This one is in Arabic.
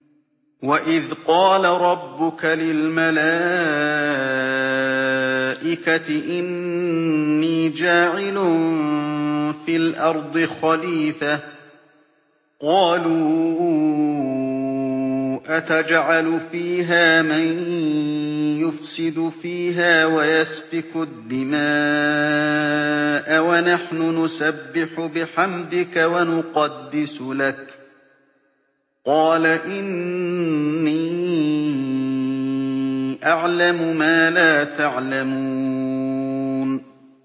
وَإِذْ قَالَ رَبُّكَ لِلْمَلَائِكَةِ إِنِّي جَاعِلٌ فِي الْأَرْضِ خَلِيفَةً ۖ قَالُوا أَتَجْعَلُ فِيهَا مَن يُفْسِدُ فِيهَا وَيَسْفِكُ الدِّمَاءَ وَنَحْنُ نُسَبِّحُ بِحَمْدِكَ وَنُقَدِّسُ لَكَ ۖ قَالَ إِنِّي أَعْلَمُ مَا لَا تَعْلَمُونَ